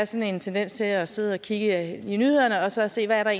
sådan en tendens til at sidde og kigge i nyhederne og så se hvad der